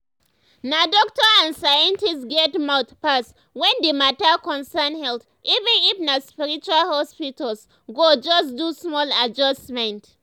na doctor and scientist get mouth pass when the mata concern health even if na spiritual hospitals go just do small adjustment.